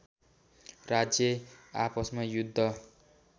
राज्य आपसमा युद्ध